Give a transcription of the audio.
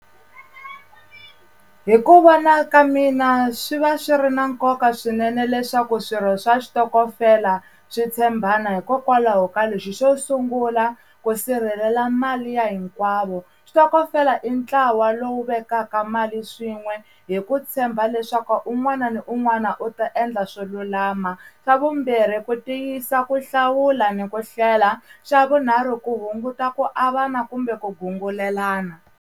Hi ku vona ka mina swi va swi ri na nkoka swinene leswaku swirho swa xitokofela swi tshembana hikokwalaho ka lexi xo sungula ku sirhelela mali ya hinkwavo switokofela i ntlawa lowu vekaka mali swin'we hi ku tshemba leswaku un'wana na un'wana u ta endla swo lulama swa vumbirhi ku tiyisa ku hlawula ni ku hlela swa vunharhu ku hunguta ku avana kumbe ku gungulelana.